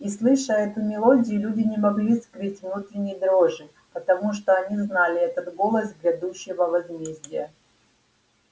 и слыша эту мелодию люди не могли скрыть внутренней дрожи потому что они знали это голос грядущего возмездия